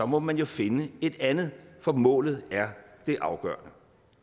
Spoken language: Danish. må man jo finde et andet for målet er det afgørende